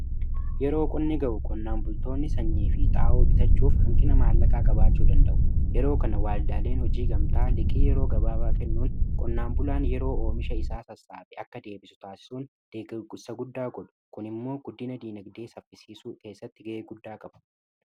Yeroo qonni ga'u qonnaan bultoonni sanyii fi xaa'oo bitachuuf hanqina maallaqaa qabaachuu danda'u. yeroo kana waldaaleen hojii gamtaa liqii yeroo gabaabaa kennuun qonnaan bulaan yeroo oomisha isaa sassaabatu akka deebisu taasisuun deeggarsa guddaa godhu kun immoo guddina diinagdee saffisiisuu keessatti ga'ee guddaa qabu.